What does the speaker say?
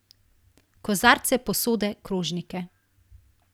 Kozarce, posode, krožnike.